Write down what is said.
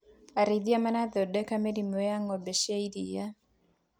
Arĩithia marathondeka mĩrimũ ya ngombe cia iria.